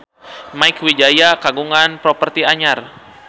Mieke Wijaya kagungan properti anyar